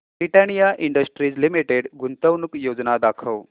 Britannia Industries Limited गुंतवणूक योजना दाखव